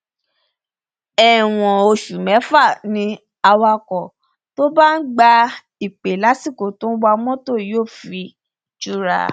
ẹwọn oṣù mẹfà ni awakọ tó bá ń gba ìpè lásìkò tó ń wa mọtò yóò fi jura